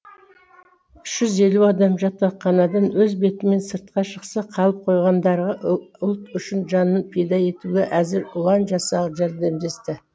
үш жүз елу адам жатақханадан өз бетімен сыртқа шықса қалып қойғандарға ұлт үшін жанын пида етуге әзір ұлан жасағы жәрдемдесті